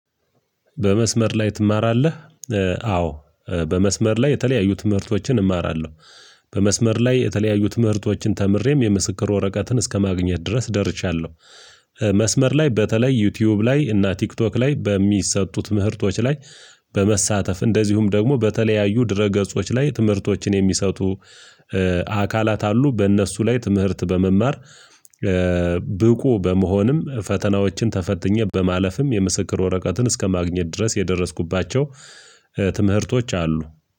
በመስመር ላይ ትማራለህ? አዎ በመስመር ላይ የተለያዩ ትምህርቶችን እማራለሁ በመስመር ላይ የተለያዩ ትምህርቶችን ተምሬም የምስክር ወረቀትን እስከማግኘት ድረስ ደርሻለሁ። መስመር ላይ በተለይ ዩቲዩብ ላይ እና ቲክቶክ ላይ በሚሰጡ ትምህርቶች ላይ በመሳተፍ እንደዚሁም ደግሞ በተለያዩ ድረ ገጾች ላይ ትምህርቶችን የሚሰጡ አካላት አሉ በእነሱ ላይ ትምህርት በመማር። ብቁ በመሆንም ፈተናዎችን ተፈትኜ በማለፍም የምስክር ወረቀትን እስከማግኘት ድረስ የደረስኩባቸው ትምህርቶች አሉ።